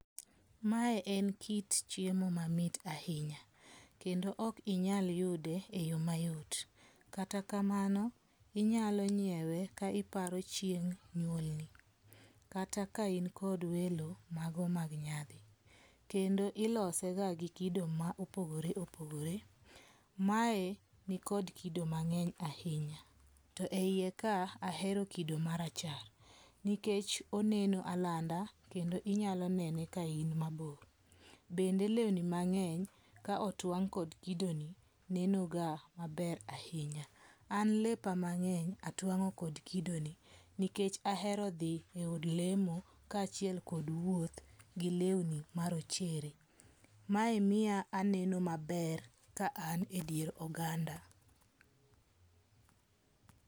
Mae en kit chiemo mamit ahinya. Kendo ok inyal yude e yo mayot. Kata kamano inyalo nyiewe ka iparo chieng' nyuolni. Kata ka in kod welo mago mag nyadhi. Kendo ilose ga gi kido ma opogore opogore. Ma e ni kod kido mang'eny ahinya. To e yie ka ahero kido ma rachar nikech oneno alanda kendo inyalo nene ka in mabor. Bende lweni mang'eny ka otwang' kod kido ni nenoga maber ahinya. An lepa mang'eny atwang'o kod kido ni nikech ahero dhi e od lemo ka achiel kod wuoth gi lewni marochere. Mae miyo aneno maber ka an e dier oganda.